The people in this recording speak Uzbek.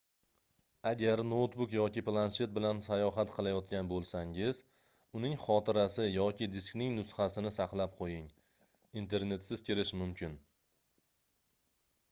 agar noutbuk yoki planshet bilan sayohat qilayotgan bo'lsangiz uning xotirasi yoki diskining nusxasini saqlab qo'ying internetsiz kirish mumkin